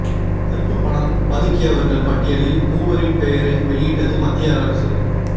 கறுப்பு பணம் பதுக்கியவர்கள் பட்டியலில் மூவரின் பெயரை வெளியிட்டது மத்திய அரசு